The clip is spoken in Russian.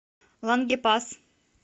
лангепас